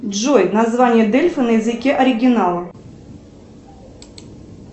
джой название дельфы на языке оригинала